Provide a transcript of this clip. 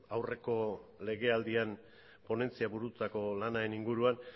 aurreko legealdian ponentzia burututako lanaren inguruan